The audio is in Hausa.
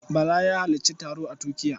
Bala ya halarci taro a Turkiya.